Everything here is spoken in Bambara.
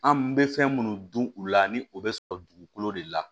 An bɛ fɛn minnu dun u la ni o bɛ sɔrɔ dugukolo de la